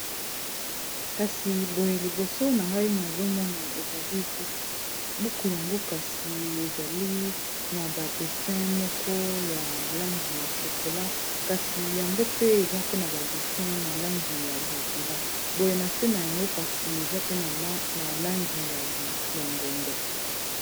kasi boye liboso na ngai nazomona ezali buku buku yango kasi ezali na badessin moko ya langi ya chokola kasi yango pe eza pe na badessin na langi ya bozinga boye na se na yango kasi eza pe na langi ya longondo